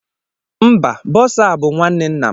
Mba, bọsa abụ nwanne nna m